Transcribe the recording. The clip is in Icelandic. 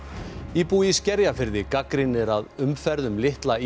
íbúi í Skerjafirði gagnrýnir að umferð um litla